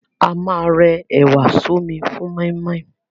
A ma rẹ ẹ̀wà sọ́mi fún mọ́ímọ́í.